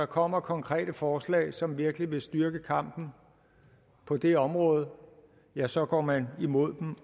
kommer konkrete forslag som virkelig vil styrke kampen på det område ja så går man imod dem